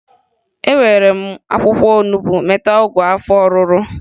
Ewere m akwụkwọ onubo meta ọgwụ afọ ọrụrụ